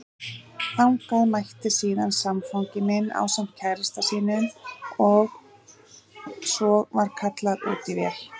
Þangað mætti síðan samfangi minn ásamt kærasta sínum og svo var kallað út í vél.